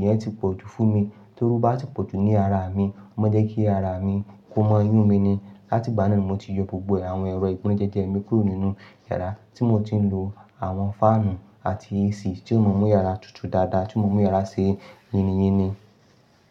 yẹn ti pọ̀ jù fún mi. Toru ó bá ti pọ̀ jù ní ara mi, ó máa n jẹ́ kí ara mi ko mọ yunmi mi ni. Lati ìgbà náà ni mo ti yọ gbogbo àwọn ẹ̀rọ ìgbónájẹjẹ mi kúrò nínú yàrá tí mo ti ń lo àwọn fáànù àti AC tí ó mo mu yàrá tutù dáadáa tí ó mú yàrá ṣe yíniyíni.